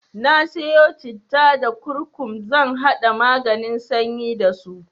Na siyo citta da kurkum zan haɗa maganin sanyi dasu.